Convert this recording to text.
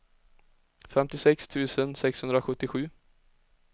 femtiosex tusen sexhundrasjuttiosju